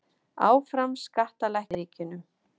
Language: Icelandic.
Áfram skattalækkanir í Bandaríkjunum